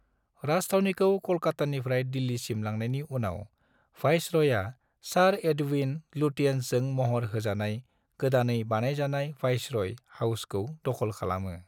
राजथावनिखौ कलकत्तानिफ्राइ दिल्लिसिम लांनायनि उनाव, वायसरायआ सार एडविन लुटियन्सजों महर होजानाय गोदानै बानायजानाय वायसराय हाउसखौ दख'ल खालामो।